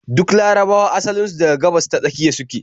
Duk larabawa asalin su daga Gabas-ta-Tsakiya su ke